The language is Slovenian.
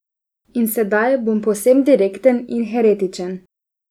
In sedaj bom povsem direkten in heretičen.